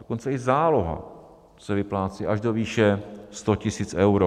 dokonce i záloha - se vyplácí až do výše 100 000 euro.